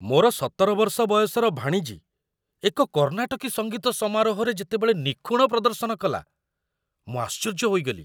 ମୋର ୧୭ ବର୍ଷ ବୟସର ଭାଣିଜୀ ଏକ କର୍ଣ୍ଣାଟକୀ ସଙ୍ଗୀତ ସମାରୋହରେ ଯେତେବେଳେ ନିଖୁଣ ପ୍ରଦର୍ଶନ କଲା, ମୁଁ ଆଶ୍ଚର୍ଯ୍ୟ ହୋଇଗଲି।